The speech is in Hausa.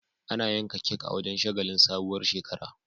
Ana yanka kek a wajan shagalin sabuwar shekara